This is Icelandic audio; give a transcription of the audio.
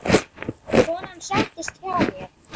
Konan settist hjá mér.